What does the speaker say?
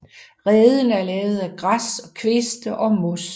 Reden er lavet af græs og kviste og mos